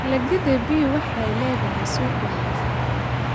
Dalagyada bean waxay leeyihiin suuq wanaagsan.